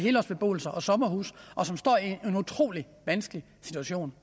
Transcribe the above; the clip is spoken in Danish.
helårsbeboelser og sommerhuse og som står i en utrolig vanskelig situation